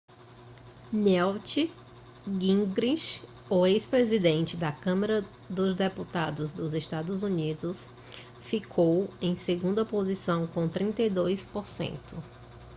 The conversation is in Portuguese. newt gingrich o ex-presidente da câmara dos deputados dos eua ficou em segunda posição com 32 por cento